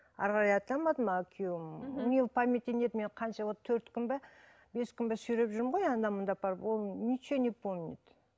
ары қарай айта алмадым а күйеуім мхм у неге памяти нет мен қанша вот төрт күн бе бес күн бе сүйреп жүрмін ғой анда мұнда апарып ол ничего не помнит